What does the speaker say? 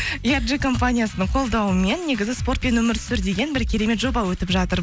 компаниясының қолдауымен негізі спортпен өмір сүр деген бір керемет жоба өтіп жатыр